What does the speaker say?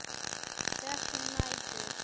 Dökkur nætur